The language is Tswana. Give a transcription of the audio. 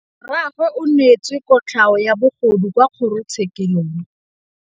Rragwe o neetswe kotlhaô ya bogodu kwa kgoro tshêkêlông.